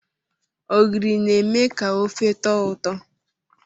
Ogiri na-eme ka ofe tọọ ụtọ.